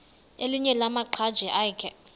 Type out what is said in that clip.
elinye lamaqhaji akhe